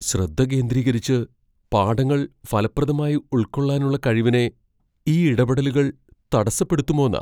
ശ്രദ്ധ കേന്ദ്രീകരിച്ച് പാഠങ്ങൾ ഫലപ്രദമായി ഉൾക്കൊള്ളാനുള്ള കഴിവിനെ ഈ ഇടപെടലുകൾ തടസ്സപ്പെടുത്തുമോന്നാ.